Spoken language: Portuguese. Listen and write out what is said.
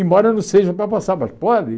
Embora não seja para passar, mas pode.